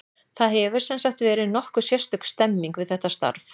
Það hefur, sem sagt, verið nokkuð sérstök stemming við þetta starf.